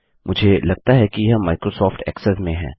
मुझे लगता है कि यह माइक्रोसॉफ्ट ऐक्सेस में है